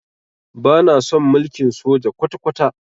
Bana son mulkin soja kwata-kwata.